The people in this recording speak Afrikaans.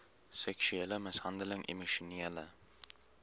seksuele mishandeling emosionele